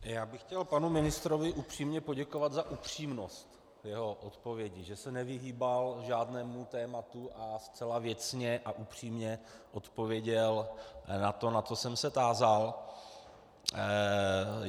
Já bych chtěl panu ministrovi upřímně poděkovat za upřímnost jeho odpovědi, že se nevyhýbal žádnému tématu a zcela věcně a upřímně odpověděl na to, na co jsem se tázal.